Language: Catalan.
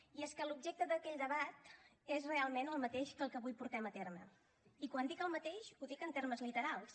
i és que l’objecte d’aquell debat és realment el mateix que el que avui portem a terme i quan dic el mateix ho dic en termes literals